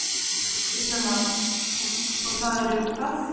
Kristján Már: Og það eru hvað?